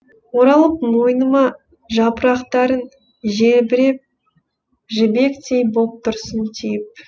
оралып мойныма жапырақтарың желбіреп жібектей боп тұрсын тиіп